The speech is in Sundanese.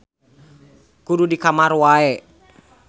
Kudu di kamar wae.